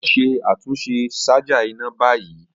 Lọ ṣe atunṣe ṣaja ina ni bayi.